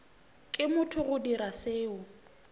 ke motho go dira seo